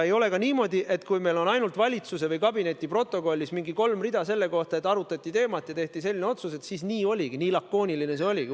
Ei ole ka niimoodi, et kui meil on ainult valitsuse või kabineti protokollis mingi kolm rida selle kohta, et arutati teemat ja tehti selline otsus, et siis nii lakooniline see arutelu oligi.